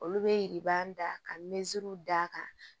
Olu bɛ da ka misisiriw da kan